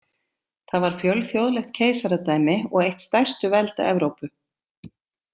Það var fjölþjóðlegt keisaradæmi og eitt stærstu velda Evrópu.